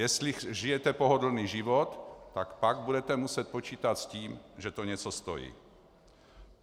Jestli žijete pohodlný život, tak pak budete muset počítat s tím, že to něco stojí.